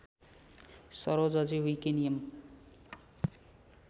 सरोजजी विकी नियम